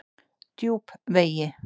Djúpvegi